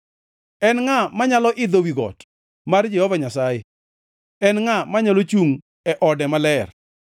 En ngʼa manyalo idho wi got mar Jehova Nyasaye? En ngʼa manyalo chungʼ e ode maler?